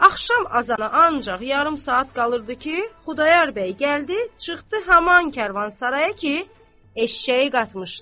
Axşam azana ancaq yarım saat qalırdı ki, Xudayar bəy gəldi, çıxdı haman karvansaraya ki, eşşəyi qatmışdı.